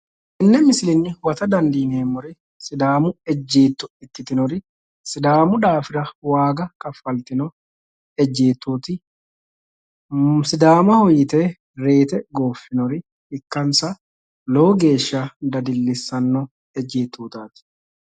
tenne misilenni huwata dandiineemmori sidaamu ejeetto ikkitinori sidaamu daafira waaga kaffaltino ejjeettooti sidaamaho yite reyiite gooffinoha ikkansa lowo geeshsha dadillissanno ejeettootaati.